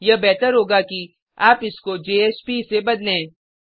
यह बेहतर होगा कि आप इसको जेएसपी से बदलें